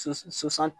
So soso san